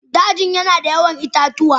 Dajin yana da yawan itatuwa.